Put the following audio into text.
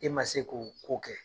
E ma se k'o kɛ